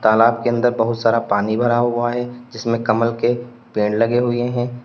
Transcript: तालाब के अंदर बहुत सारा पानी भरा हुआ है जिसमें कमल के पेड़ लगे हुए हैं।